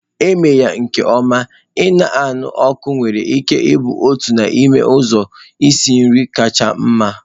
Eme ya nke ọma, Ịña na ọkụ nwere ike ịbụ otu n'ime ụzọ isi nri kachasị mma.